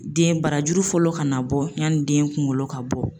Den barajuru fɔlɔ kana bɔ yani den kunkolo ka bɔ.